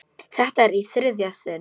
Þetta er í þriðja sinn.